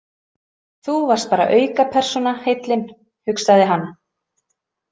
Þú varst bara aukapersóna, heillin, hugsaði hann.